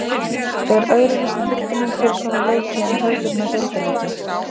Er öðruvísi tilfinning fyrir svona leiki en hefðbundna deildarleiki?